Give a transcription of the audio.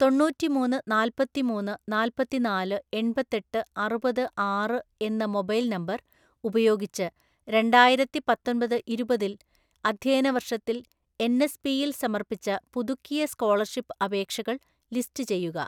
തൊണ്ണൂറ്റിമൂന്ന് നാൽപ്പത്തിമൂന്ന് നാൽപ്പത്തിനാല് എൺപത്തെട്ട് അറുപത് ആറ് എന്ന മൊബൈൽ നമ്പർ ഉപയോഗിച്ച് രണ്ടായിരത്തിപ്പത്തൊൻപത് ഇരുപതിൽ അധ്യയനവർഷത്തിൽ എൻ എസ് പിയിൽ സമർപ്പിച്ച പുതുക്കിയ സ്‌കോളർഷിപ്പ് അപേക്ഷകൾ ലിസ്റ്റ് ചെയ്യുക.